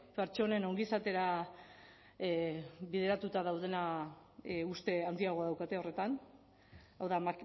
pertsonen ongizatera bideratuta daudena uste handiagoa daukate horretan hau da